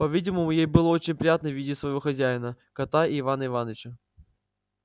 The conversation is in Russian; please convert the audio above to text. по-видимому ей было очень приятно видеть своего хозяина кота и ивана иваныча